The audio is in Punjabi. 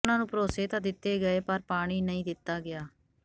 ਉਨ੍ਹਾਂ ਨੂੰ ਭਰੋਸੇ ਤਾਂ ਦਿੱਤੇ ਗਏ ਪਰ ਪਾਣੀ ਨਹੀਂ ਦਿੱਤਾ ਗਿਆ